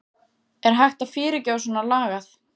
Er hægt að fyrirgefa svona lagað?